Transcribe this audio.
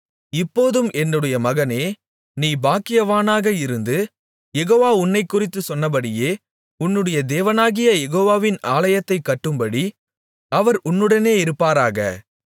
இப்போதும் என்னுடைய மகனே நீ பாக்கியவானாக இருந்து யெகோவா உன்னைக்குறித்துச் சொன்னபடியே உன்னுடைய தேவனாகிய யெகோவாவின் ஆலயத்தைக் கட்டும்படி அவர் உன்னுடனே இருப்பாராக